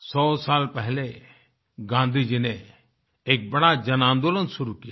सौसाल पहले गाँधी जी ने एक बड़ा जनआन्दोलन शुरू किया था